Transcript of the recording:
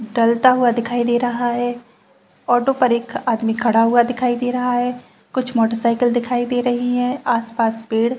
डलता हुआ दिखाई दे रहा है ऑटो पर एक आदमी खड़ा हुआ दिखाई दे रहा है कुछ मोटर साइकिल दिखाई दे रही है आस-पास पेड़--